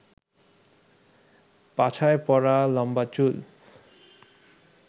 পাছায় পড়া লম্বা চুল